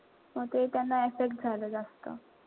मग ते त्यांना affect झालं जास्त.